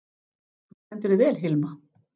Þú stendur þig vel, Hilma!